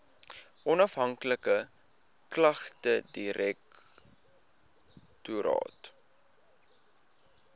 onafhanklike klagtedirektoraat